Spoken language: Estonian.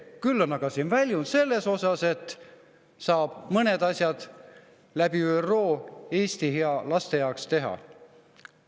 Küll on aga siin väljund selles osas, et saab mõned asjad läbi ÜRO Eesti ja laste jaoks ära teha.